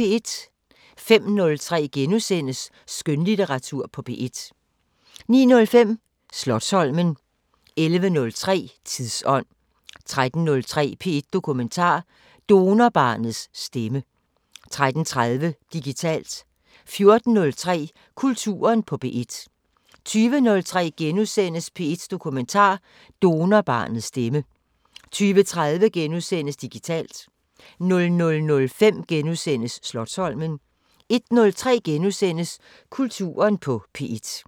05:03: Skønlitteratur på P1 * 09:05: Slotsholmen 11:03: Tidsånd 13:03: P1 Dokumentar: Donorbarnets stemme 13:30: Digitalt 14:03: Kulturen på P1 20:03: P1 Dokumentar: Donorbarnets stemme * 20:30: Digitalt * 00:05: Slotsholmen * 01:03: Kulturen på P1 *